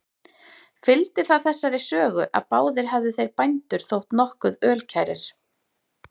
Fylgdi það þessari sögu, að báðir hefðu þeir bændur þótt nokkuð ölkærir.